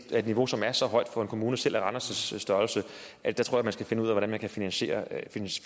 er et niveau som er så højt for en kommune selv af randers størrelse at der tror jeg man skal finde ud af hvordan man kan finansiere